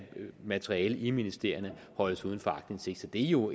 materiale i ministerierne holdes uden for aktindsigt så det er jo